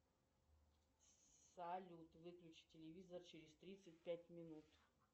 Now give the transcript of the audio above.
салют выключи телевизор через тридцать пять минут